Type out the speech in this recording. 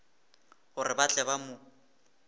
gore ba tle ba mo